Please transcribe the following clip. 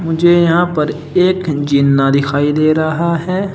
मुझे यहां पर एक जीना दिखाई दे रहा है।